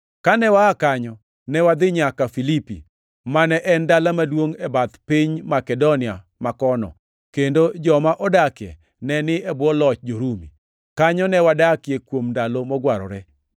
Kane waa kanyo, ne wadhi nyaka Filipi, mane en dala maduongʼ e bath piny Makedonia ma kono, kendo joma odakie ne ni e bwo loch jo-Rumi. Kanyo ne wadakie kuom ndalo mogwarore.